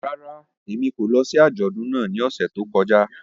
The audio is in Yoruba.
Rárá, Emi ko lọ si ajọdun náà ni ọsẹ to kọja.